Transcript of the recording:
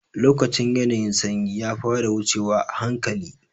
Lokacin ƴanayin sanyi ya fara wucewa ahanƙali.